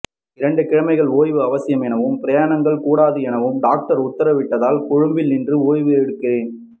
இரண்டு கிழமைகள் ஓய்வு அவசியம் எனவும் பிரயாணங்கள் கூடாது எனவும் டாக்டர் உத்தரவிட்டதனால் கொழும்பில் நின்று ஓய்வு எடுக்கிறேன்